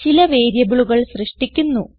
ചില വേരിയബിളുകൾ സൃഷ്ടിക്കുന്നു